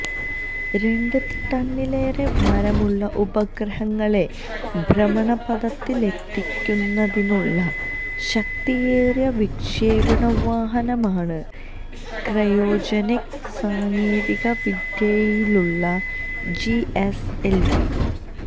രണ്ട് ടണ്ണിലേറെ ഭാരമുള്ള ഉപഗ്രഹങ്ങളെ ഭ്രമണപഥത്തിലെത്തിക്കുന്നതിനുള്ള ശക്തിയേറിയ വിക്ഷേപണവാഹനമാണ് ക്രയോജനിക് സാങ്കേതിക വിദ്യയിലുള്ള ജിഎസ്എല്വി